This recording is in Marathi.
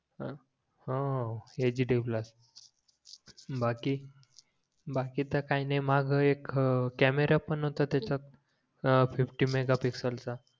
अं हां यच डी प्लस बाकी बाकी तर काही नाही माझा एक कॅमेरा पण होता त्याच्यात अं फिफ्टी मेघापिक्सेल चा